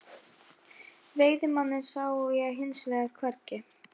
Veiðimanninn sá ég hins vegar hvergi.